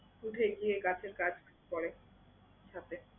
উঠে গিয়ে গাছের কাজ করে, হাঁটে।